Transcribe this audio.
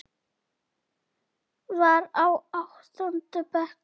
Var í áttunda bekk.